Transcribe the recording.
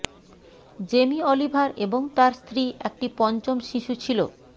Jamie Oliver এবং তার স্ত্রী একটি পঞ্চম শিশু ছিল